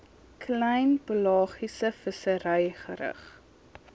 klein pelagiesevissery gerig